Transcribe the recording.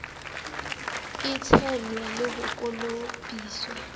e tshelwa le ho kolobiswa